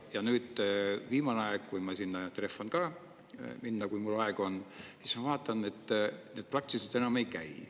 Ja nüüd viimane aeg, kui ma sinna trehvan ka, kui mul aega on, siis ma vaatan, et nad praktiliselt enam ei käi.